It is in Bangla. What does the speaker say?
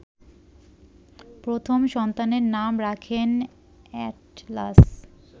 প্রথম সন্তানের নাম রাখেন এ্যাটলাস